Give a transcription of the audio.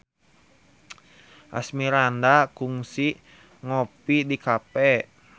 Asmirandah kungsi ngopi di cafe